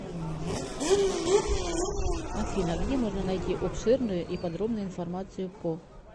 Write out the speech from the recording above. афина где можно найти обширную и подробную информацию по